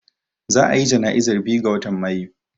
Za a ya jana'izar biyu ga watan Mayu